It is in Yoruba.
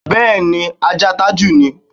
Bé̩è̩ni, ajáa Tájù ni.